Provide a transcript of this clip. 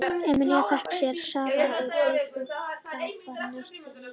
Emil fékk sér safa og brauð en þá var nestið líka búið.